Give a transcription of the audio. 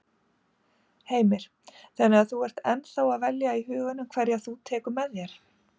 Heimir: Þannig að þú ert ennþá að velja í huganum hverja þú tekur með þér?